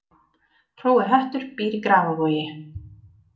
Hrói höttur býr í Grafarvogi